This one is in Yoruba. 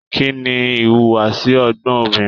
Kínní ìwùwàsi ọgbọn obìnrin?